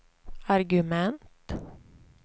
argument